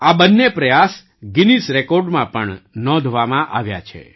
આ બંને પ્રયાસ ગિનીઝ રેકૉર્ડમાં પણ નોંધવામાં આવ્યા છે